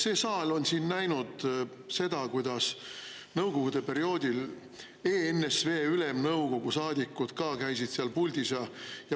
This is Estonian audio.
See saal on näinud seda, kuidas nõukogude perioodil ENSV Ülemnõukogu saadikud ka käisid seal puldis.